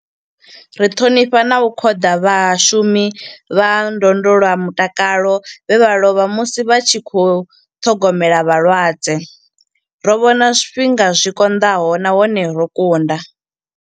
Ri ṱhonifha na u khoḓa vhashu mi vha ndondolamutakalo vhe vha lovha musi vha tshi khou ṱhogomela vhalwadze. Ro vhona zwifhinga zwi konḓaho nahone ro kunda.